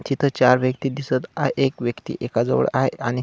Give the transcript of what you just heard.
तिथ चार व्यक्ति दिसत आहे आणि एक व्यक्ति एका जवळ आहे आणि--